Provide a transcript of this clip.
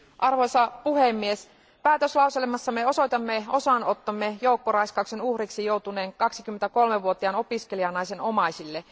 Arvoisa puhemies, päätöslauselmassamme osoitamme osanottomme joukkoraiskauksen uhriksi joutuneen 23 vuotiaan opiskelijanaisen omaisille.